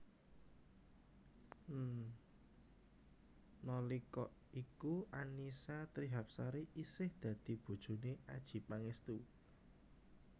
Nalika iku Annisa Trihapsari isih dadi bojoné Adjie Pangestu